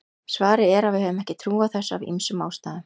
svarið er að við höfum ekki trú á þessu af ýmsum ástæðum